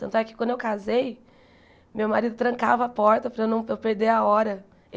Tanto é que, quando eu casei, meu marido trancava a porta para eu não para eu perder a hora.